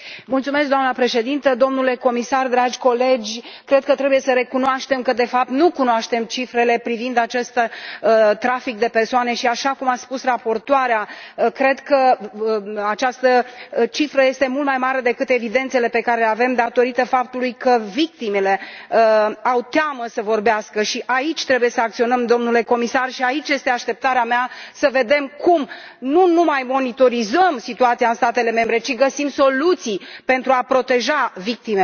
Doamnă președintă, cred că trebuie să recunoaștem că, de fapt, nu cunoaștem cifrele privind acest trafic de persoane și, așa cum a spus raportoarea, cred că această cifră este mult mai mare decât evidențele pe care le avem, datorită faptului că victimelor le e teamă să vorbească și aici trebuie să acționăm, domnule comisar, și aceasta este așteptarea mea să vedem cum nu numai monitorizăm situația în statele membre, ci găsim soluții pentru a proteja victimele.